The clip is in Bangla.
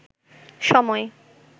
সময়